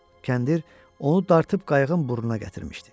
Kəndir onu dartıb qayığın burnuna gətirmişdi.